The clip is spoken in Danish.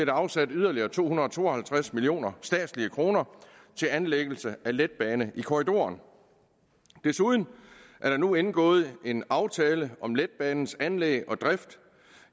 afsat yderligere to hundrede og to og halvtreds millioner statslige kroner til anlæggelse af en letbane i korridoren desuden er der nu indgået en aftale om letbanens anlæg og drift